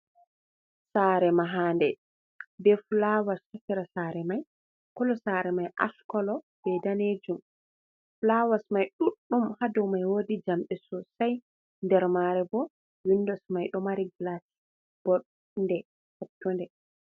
Sare mahande be fulawas ha sera mai, kolo sare mai ash kolo bei danejum. Fulawas mai duɗdum ha dou mai woɗi jamɗe sosai nder mare bo windos mai ɗo mari glas boɗe potunde.